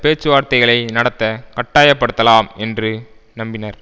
பேச்சுவார்தைதகளை நடத்த கட்டாயப்படுத்தாலாம் என்று நம்பினர்